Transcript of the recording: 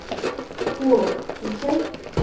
порус включай